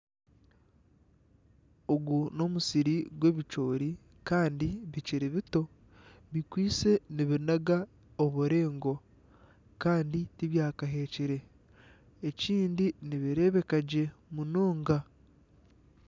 Ogu n'omusiri gw'ebicoori kandi bikiri bito bikwaitse nibinaga obureengo kandi tibyakaheekire ekindi nibireebeka gye munonga.